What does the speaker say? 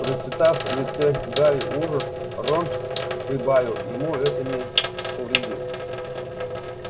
прочитав в лице гарри ужас рон прибавил ему это не повредит